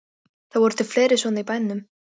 Það voru til fleiri svona í bænum.